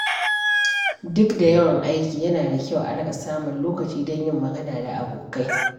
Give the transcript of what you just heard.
Duk da yawan aiki, yana da kyau a riƙa samun lokaci don yin magana da abokai.